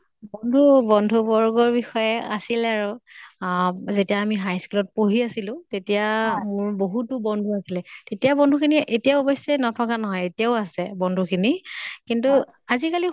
বন্ধু বৰ্গৰ বিষয়ে আছিলে আৰু। আহ যেতিয়া আমি high school ত পঢ়ি আছিলো, তেতিয়া মোৰ বহুতো বন্ধু আছিলে। তেতিয়াৰ বন্ধু খিনি এতিয়া অৱশ্য়ে নথকা নহয়। এতিয়াও আছে বন্ধু খিনি। কিন্তু আজি কালি